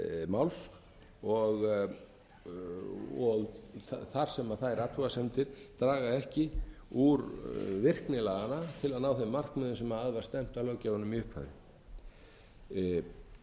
máls þar sem þær athugasemdir draga ekki úr virkni laganna til að ná þeim markmiðum sem að var stefnt af löggjafanum í upphafi við teljum